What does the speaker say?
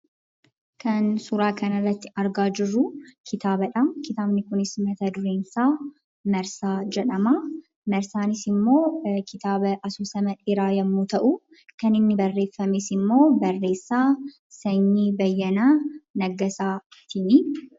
Kan suuraa kanarratti argaa jirruu kitaabadhaa. Kitaabni kunis mata dureensaa Marsaa jedhamaa. Marsaanis immoo kitaaba asoosama dheeraa yemmuu ta'uu kan inni barreeffames immoo barreessaa Sanyii Bayyanaa Naggasaatinii.